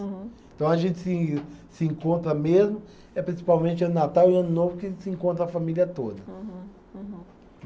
Então, a gente se se encontra mesmo, é principalmente no Natal e ano novo que se encontra a família toda. Uhum, uhum.